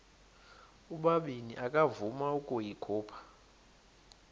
ubabini akavuma ukuyikhupha